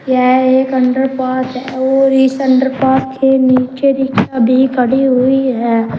यह एक under path है और इस अंडर पाथ के नीचे रिक्शा भी खड़ी हुई है।